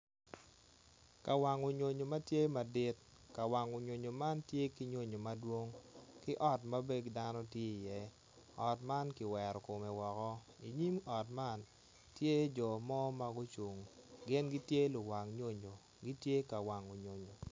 Kawango nyonyo ma tye madit ka wango nyonyo man tye ki nyonyo madwong ki ot ma dano bene tye iye ot man kiwero kome woko i nyim ot man tye jo ma ma gucung gin gitye luwang nyonyo gitye ka wango nyonyo.